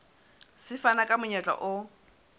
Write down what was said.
se fana ka monyetla o